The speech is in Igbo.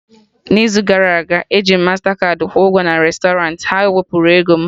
N'izu gara aga, eji m mastakaadị kwụọ ụgwọ na restọrant, ha wepụrụ m ego